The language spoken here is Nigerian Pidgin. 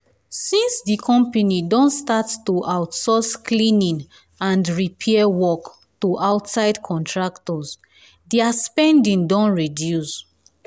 since di company don start to outsource cleaning and repair um work to outside contractors dia spending don reduce.